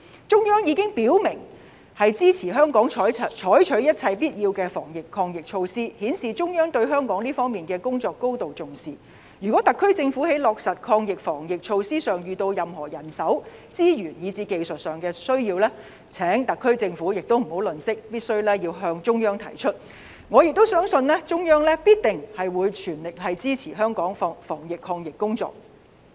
中央已經表明支持香港採取一切必要的防疫抗疫措施，顯示中央對香港這方面的工作高度重視，如果特區政府在落實防疫抗疫措施上遇到任何人手、資源，以至技術上需要，請特區政府不要吝嗇，必須向中央提出，我相信中央必定全力支持香港的防疫抗疫工作。